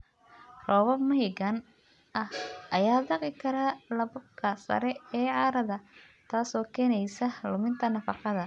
Roobab mahiigaan ah ayaa dhaqi kara lakabka sare ee carrada, taasoo keenaysa luminta nafaqada.